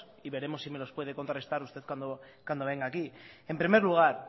y veremos si me los puede contrarrestar usted cuando venga aquí en primer lugar